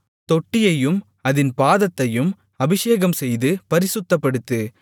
தொட்டியையும் அதின் பாதத்தையும் அபிஷேகம்செய்து பரிசுத்தப்படுத்து